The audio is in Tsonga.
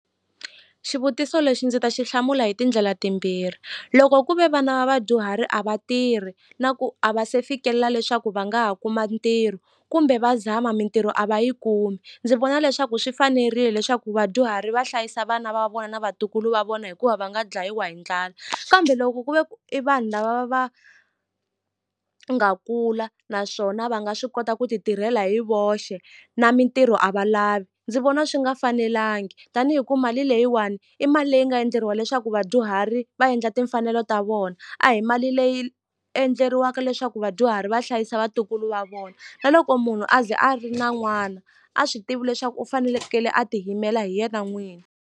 Xivutiso lexi ndzi ta xi hlamula hi tindlela timbirhi loko ku ve vana va vadyuhari a va tirhi na ku a va se fikelela leswaku va nga ha kuma ntirho kumbe va zama mintirho a va yi kumi ndzi vona leswaku swi fanerile leswaku vadyuhari va hlayisa vana va vona na vatukulu va vona hikuva va nga dlayiwa hi ndlala kambe loko ku ve ku i vanhu lava va nga kula naswona va nga swi kota ku ti tirhela hi voxe na mintirho a va lavi ndzi vona swi nga fanelangi tanihi ku mali leyiwani i mali leyi nga endleriwa leswaku vadyuhari va endla timfanelo ta vona a hi mali leyi endleriwaka leswaku vadyuhari va hlayisa vatukulu va vona na loko munhu a ze a ri na n'wana a swi tivi leswaku u fanelekele a ti yimela hi yena n'wini.